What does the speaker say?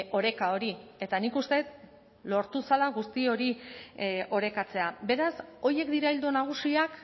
oreka hori eta nik uste dut lortu zela guzti hori orekatzea beraz horiek dira ildo nagusiak